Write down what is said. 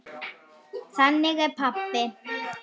Þannig er pabbi.